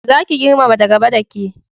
Za ki girmama da gaba da ke